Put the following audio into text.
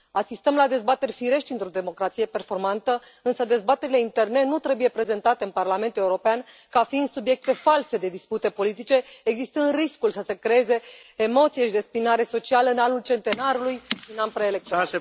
Asistăm la dezbateri firești într o democrație performantă, însă dezbaterile interne nu trebuie prezentate în Parlamentul European ca fiind subiecte false de dispute politice, existând riscul să se creeze emoție și dezbinare socială în anul centenarului, un an preelectoral.